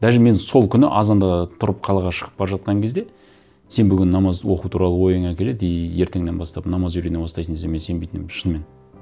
даже мен сол күні азанда тұрып қалаға шығып бара жатқан кезде сен бүгін намаз оқу туралы ойыңа келеді и ертеңнен бастап намаз үйрене бастайсың десе мен сенбейтін едім шынымен